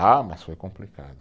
Ah, mas foi complicado.